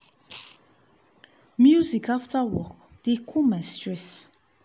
music after work dey cool my stress.